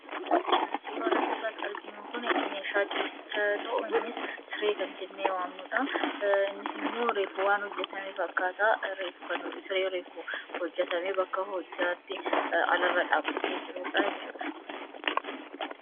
Suuraan asirratti argamu kun meeshaa ciisichaa yoo ta'u, kunis siree kan jennee waamnudha. Innis immoo reefu waan hojjatame fakkaata. Siree hojjatamee bakka hojjaatti alarra dhaabbatee jirudha jechuudha.